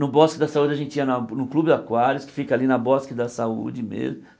No Bosque da Saúde a gente ia na no Clube Aquários, que fica ali na Bosque da Saúde mesmo.